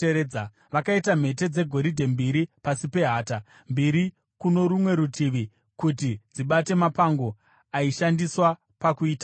Vakaita mhete dzegoridhe mbiri pasi pehata, mbiri kuno rumwe rutivi, kuti dzibate mapango aishandiswa pakuitakura.